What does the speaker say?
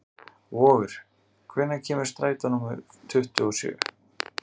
Vogur, hvenær kemur strætó númer tuttugu og sjö?